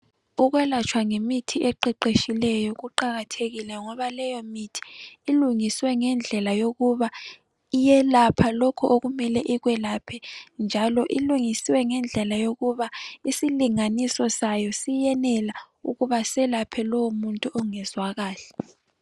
Ukwelatshwa ngemithi eqeqetshileyo kuqakathekile ngoba leyo mithi ilungiswe ngendlela yokuba iyelapha lokho okumele ikwelaphe njalo ilungisiwe lela yokuba isilinganiso sayo siyenela ukuba selaphe lowomuntu ongezwa kahle.